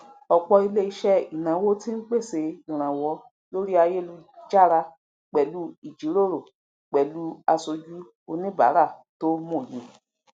ọpọ iléiṣẹ ináwó ti ń pese ìranwọ lórí ayélujára pẹlú ìjíròrò pẹlú aṣojú oníbàárà tó mòye